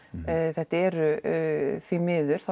þetta eru því miður þá